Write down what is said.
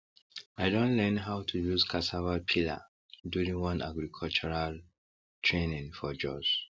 i don learn how to use cassava peeler during one agricultural training for jos